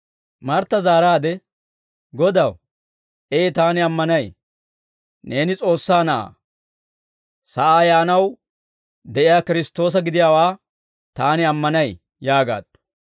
Martta zaaraadde, «Godaw, Ee taani ammanay; neeni S'oossaa Na'aa, sa'aa yaanaw de'iyaa Kiristtoosa gidiyaawaa taani ammanay» yaagaaddu.